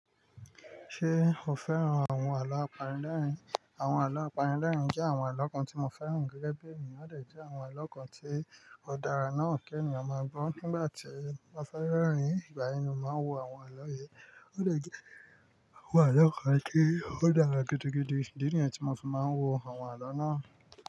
Ṣé o fẹ́ràn àwọn àlọ́ apanilẹ́rìn? Àwọn àlọ́ apanilẹ́rìn jẹ́ àwọn àlọ́ kan tí mo fẹ́ràn gẹ́gẹ́ bẹ́ẹ̀ ni. Ó dẹ̀ jẹ́ àwọn àlọ́ kan tí ó dára náà kí ènìyàn máa gbọ́. Nígbà tí mo bá fẹ́ rẹ́rìn-ín, ìgbà yen ni mo máa n wo àwọn àlọ́ yii. Ó dẹ̀ jẹ́ àwọn àlọ́ kan ti ó dára gidi gidi, idi niyen tí mo fi máa ń wo àwọn àlọ́ náà.